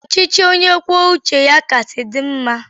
Ọchịchị onye kwuo uche ya kachasị dị mma